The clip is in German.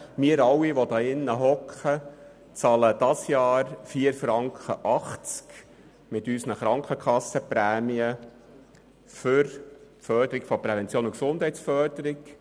Wir alle, die in diesem Saal sitzen, bezahlen in diesem Jahr 4.80 Franken von unseren Krankenkassenprämien zur Förderung von Prävention und Gesundheit.